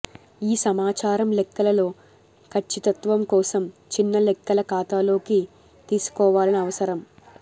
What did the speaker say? ఈ సమాచారం లెక్కల లో ఖచ్చితత్వం కోసం చిన్న లెక్కల ఖాతాలోకి తీసుకోవాలని అవసరం